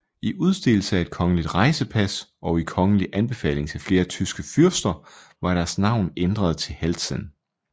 I udstedelse af et kongelig rejsepas og i kongelig anbefaling til flere tyske fyrster var deres navn ændret til Heltzen